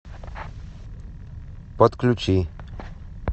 подключи